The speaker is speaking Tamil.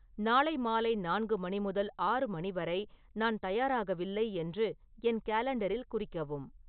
நாளை மாலை நான்கு மணி முதல் ஆறு மணி வரை நான் தயாராகயில்லை என்று என் காலண்டரில் குறிக்கவும்